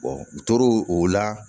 u tor'o o la